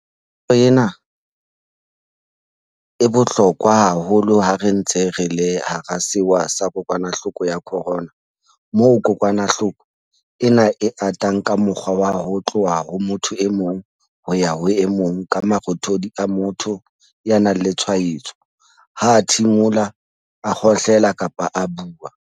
Tlwaelo ena e bohlokwa haholo ha re ntse re le hara sewa sa kokwanahloko ya corona moo kokwanahloko ena e atang ka mokgwa wa ho tloha ho motho e mong ho ya ho e mong ka marothodi a motho ya nang le tshwaetso ha a thimola, a kgohlela kapa a bua.